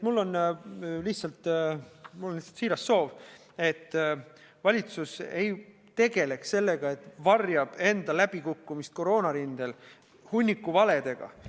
Mul on siiras soov, et valitsus ei tegeleks sellega, et varjab enda läbikukkumist koroonarindel hunniku valedega.